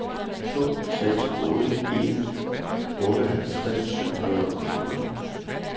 to seks otte en otteoghalvtreds syv hundrede og fjorten